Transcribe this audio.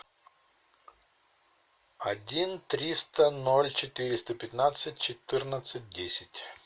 один триста ноль четыреста пятнадцать четырнадцать десять